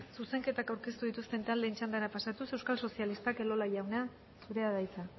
zuzenketak aurkeztu dituzten taldeen txandara pasatuz euskal sozialistak elola jauna zurea da hitza